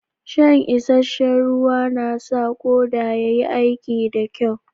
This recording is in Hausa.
Shan isheshe'n ruwa na sa koda ya yi aiki da kyau.